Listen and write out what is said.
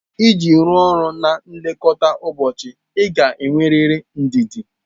Iji rụọ ọrụ na nlekọta ụbọchị ị ga-enwerịrị ndidi.